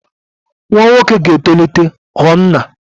Nwa nwoke ga-etolite ghọọ nna.